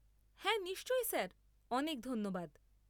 হ্যাঁ নিশ্চয় স্যার, অনেক ধন্যবাদ।